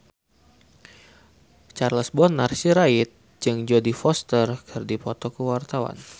Charles Bonar Sirait jeung Jodie Foster keur dipoto ku wartawan